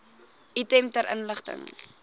item ter inligting